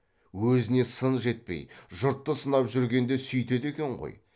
өзіне сын жетпей жұртты сынап жүргенде сүйтеді екен ғой